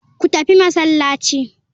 Ku tafi masallaci.